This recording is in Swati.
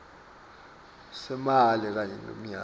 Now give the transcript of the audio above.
semali kanye ngemnyaka